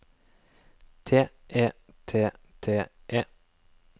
T E T T E